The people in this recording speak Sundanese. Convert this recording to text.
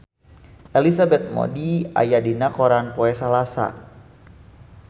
Elizabeth Moody aya dina koran poe Salasa